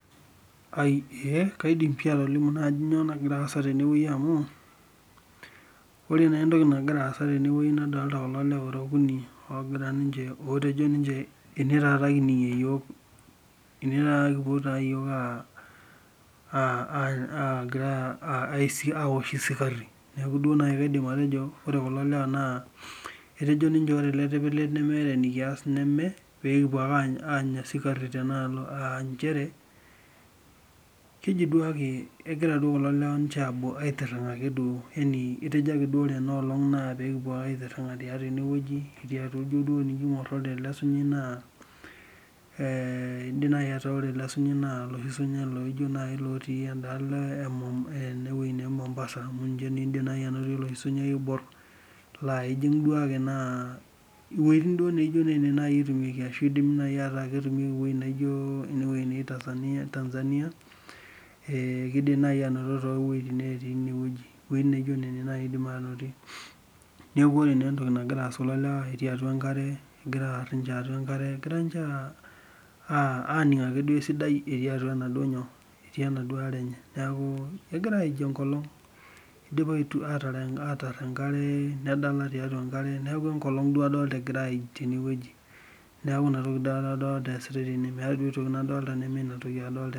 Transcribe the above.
Ee kaidim pii atolimu ajo kainyoo naji nagira aasa teneweji amu ore naa entoki nagira aasa teneweji naa nadolita kulo lewa lora okuni ogira ninche otejo ninche eneweji taata kining'ie iyiok enewei kipuo taata iyiok agira aosh kisari neeku naduo kidim atejo ore kulo lewa naa etejo ninche ore ele tipilet naa nemeeta enikayas neme pee kipuo ake anya sikari tenakata aa nchere keji duake kegir kulo lewa ninche aitiring'a ake duo yaani etejo duake ore ena olong' naa pee kipuo ake aitiring'a tiatua eneweji aa tenijo duo aingor ijo atua naaa idim naaji ataa ore ele sunyai naa oloshi sunyai loijo najj looti eda alo ee endeweji naa ee Mombasa amu ninche naji idim anotoki ele sunyai oibor laa iduaki iweitin duo naa etumieki ashu idim naji aku ketumieki eweji naijo Tanzania kidim naji anoto too wejitin naati Nairobi. Iweitin naijo nena naji idim anotie neeku ore entoki nagira aasa naa otii atua nkare egira ninche tiatau enkare egira ninche aning' ake duo esidai etii atua enaduo nyoo? Etii enaduo are enye egira aij enkolong' idipa atar enkare nedala tiatua enkare neeku enkolong' duo adolita egira aij teneweji. Neeku ina adolita esitai teneweji meet aitoki nadolita neme ina.